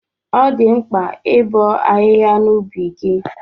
Ọ dị mkpa ibo ahịhịa n'ubi gị